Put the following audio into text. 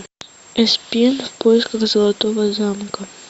эспен в поисках золотого замка